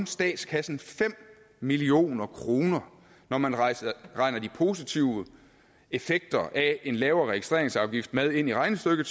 statskassen fem million kroner når man regner de positive effekter af en lavere registreringsafgift med ind i regnestykket